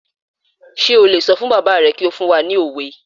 Sé o lè sọ fún bàbá rẹ kí ó fún wa ní òwe?